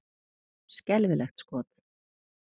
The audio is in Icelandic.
Skelfilegt skot!